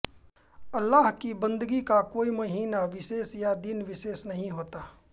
अल्लाह की बन्दगी का कोई महीना विशेष या दिन विशेष नहीं होता